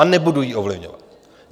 A nebudu ji ovlivňovat.